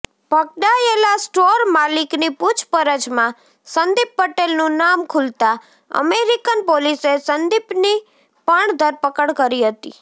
પકડાયેલા સ્ટોર માલિકની પૂછપરછમાં સંદીપ પટેલનું નામ ખૂલતા અમેરિકન પોલીસે સંદીપ્ની પણ ધરપકડ કરી હતી